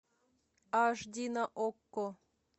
аш ди на окко